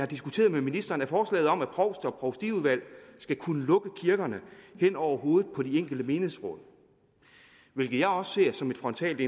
diskuteret med ministeren er forslaget om at provster og provstiudvalg skal kunne lukke kirkerne hen over hovedet på de enkelte menighedsråd hvilket jeg også ser som et frontalt